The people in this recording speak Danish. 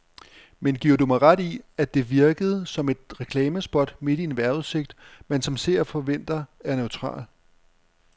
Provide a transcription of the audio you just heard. Men giver du mig ret i, at det virkede som et reklamespot midt i en vejrudsigt, man som seer forventer er neutral.